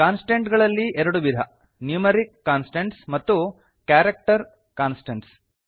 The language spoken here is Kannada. ಕಾನ್ಸ್ಟಂಟ್ ಗಳಲ್ಲಿ ಎರಡು ವಿಧ ನ್ಯೂಮರಿಕ್ ಕಾನ್ಸ್ಟಂಟ್ಸ್ ಮತ್ತು ಕ್ಯಾರಕ್ಟರ್ ಕಾನ್ಸ್ಟಂಟ್ಸ್